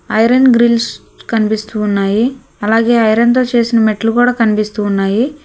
Iron grills కనిపిస్తూ ఉన్నాయి అలాగే ఐరన్ తో చేసిన మెట్లు కూడా కనిపిస్తూ ఉన్నాయి.